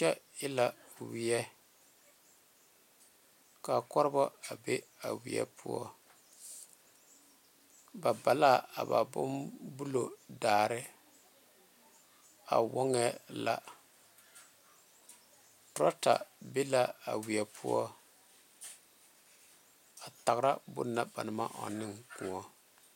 Kyɛ e la wiɛ ka korebo a be a wiɛ poɔ ba ba la a ba boŋ bulu daare a woŋee la torata be la a wiɛ poɔ a tara bonna ba naŋ maŋ ɔŋ ne kõɔ.